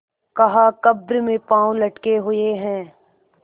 कहाकब्र में पाँव लटके हुए हैं